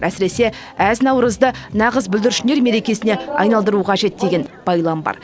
әсіресе әз наурызды нағыз бүлдіршіндер мерекесіне айналдыру қажет деген байлам бар